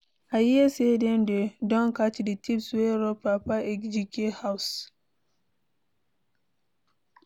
I hear say dey don catch the thieves wey rob Papa Ejike house.